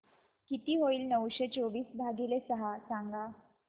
किती होईल नऊशे चोवीस भागीले सहा सांगा